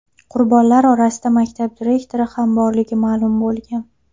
Qurbonlar orasida maktab direktori ham borligi ma’lum bo‘lgan.